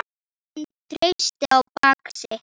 Hún treysti á bak sitt.